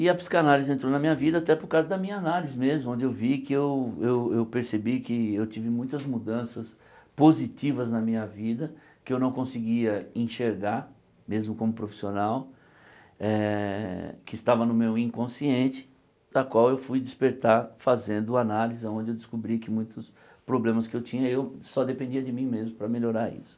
E a psicanálise entrou na minha vida até por causa da minha análise mesmo, onde eu vi que eu eu eu percebi que eu tive muitas mudanças positivas na minha vida, que eu não conseguia enxergar, mesmo como profissional, eh que estava no meu inconsciente, da qual eu fui despertar fazendo análise, aonde eu descobri que muitos problemas que eu tinha, eu só dependia de mim mesmo para melhorar isso.